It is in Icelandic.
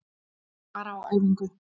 Bara á æfingu.